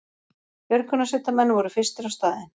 Björgunarsveitarmenn voru fyrstir á staðinn